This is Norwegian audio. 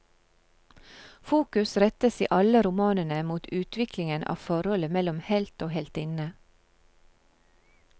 Fokus rettes i alle romanene mot utviklingen av forholdet mellom helt og heltinne.